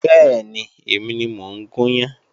Bẹ́ẹ̀ni, èmi ni mo ń gún yan